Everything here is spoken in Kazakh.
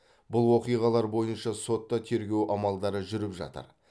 бұл оқиғалар бойынша сотта тергеу амалдары жүріп жатыр